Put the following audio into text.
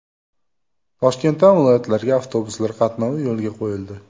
Toshkentdan viloyatlarga avtobuslar qatnovi qayta yo‘lga qo‘yildi.